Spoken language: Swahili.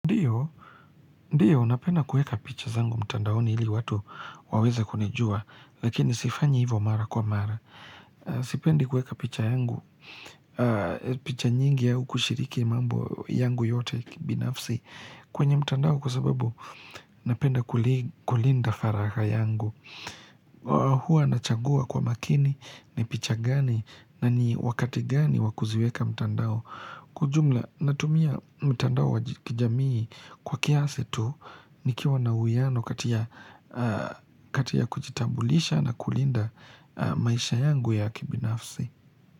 Ndio, ndio, napenda kuweka picha zangu mtandaoni ili watu waweze kunijua, lakini sifanyi hivyo mara kwa mara. Sipendi kuweka picha yangu, picha nyingi au kushiriki mambo yangu yote ya kibinafsi kwenye mtandao kwa sababu napenda kulinda faragha yangu. Huwa nachagua kwa makini ni picha gani na ni wakati gani wakuziweka mtandao. Kwa ujumla natumia mtandao wa kijamii kwa kiasi tu nikiwa na uwiano kati ya kujitambulisha na kulinda maisha yangu ya kibinafsi.